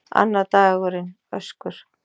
Annar dagurinn: Öskur.